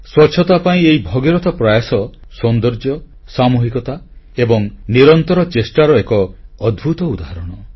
ସ୍ୱଚ୍ଛତା ପାଇଁ ଏହି ଭଗୀରଥ ପ୍ରୟାସ ସୌନ୍ଦର୍ଯ୍ୟ ସାମୁହିକତା ଏବଂ ନିରନ୍ତର ଚେଷ୍ଟାର ଏକ ଅଦ୍ଭୁତ ଉଦାହରଣ